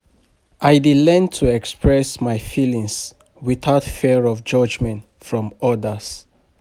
I dey learn to express my feelings without fear of judgment from others.